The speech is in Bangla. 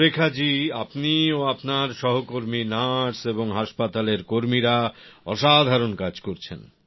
সুরেখা জী আপনি ও আপনার সহকর্মী নার্স এবং হাসপাতালের কর্মীরা অসাধারণ কাজ করছেন